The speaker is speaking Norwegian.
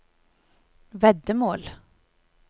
veddemål